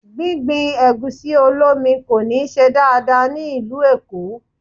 Gbígbin Ẹ̀gúsí-olómi kò ní ṣe dáadáa ní ìlú Èkó.